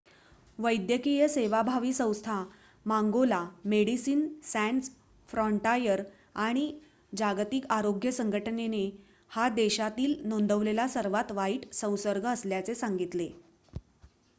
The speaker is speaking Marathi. वैद्यकीय सेवाभावी संस्था मांगोला मेडिसिन सॅन्स फ्रॉन्टायर आणि जागतिक आरोग्य संघटनेने हा देशातील नोंदवलेला सर्वात वाईट संसर्ग असल्याचे सांगितले